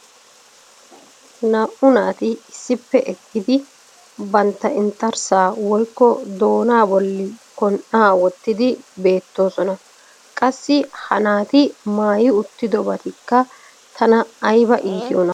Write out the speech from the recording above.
naa"u naati issippe eqqidi bantta inxxarssaa woykko doonaa bolli kon'aa wottidi beetoosona. qassi ha naati maayi uutidobatikka tana aybba iittiyonaa.